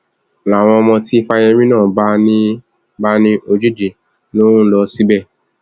n láwọn ọmọ tí fáyẹmì náà bá ní bá ní ojúde ló ń lọ síbẹ